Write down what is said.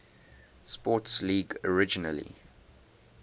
sports league originally